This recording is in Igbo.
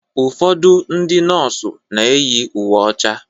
Ụfọdụ ndị nọọsụ na-eyi uwe ọcha